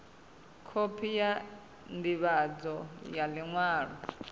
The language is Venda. khophi ya ndivhadzo ya liṅwalo